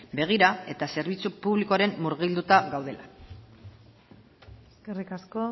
begira eta zerbitzu publikoan murgilduta gaudela eskerrik asko